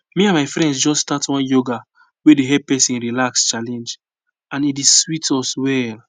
me and my friends just start one yoga wey dey help person relax challenge and e dey sweet us well